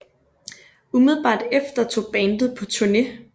Umiddelbart efter tog bandet på turné